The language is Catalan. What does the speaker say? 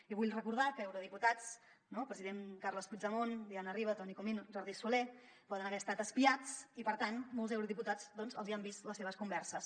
i vull recordar que eurodiputats el president carles puigdemont diana riba toni comín jordi soler poden haver estat espiats i per tant a molts eurodiputats doncs els hi han vist les seves converses